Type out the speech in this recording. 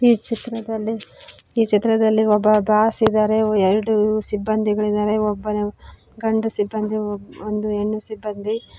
ಈ ಚಿತ್ರದಲ್ಲಿ ಈ ಚಿತ್ರದಲ್ಲಿ ಒಬ್ಬ ಬಾಸ್ ಇದ್ದಾರೆ ಎರಡು ಸಿಬ್ಬಂದಿಗಳಿದ್ದಾರೆ ಒಬ್ಬನು ಗಂಡು ಸಿಬ್ಬಂದಿ ಒಂದು ಹೆಣ್ಣ ಸಿಬ್ಬಂದಿ.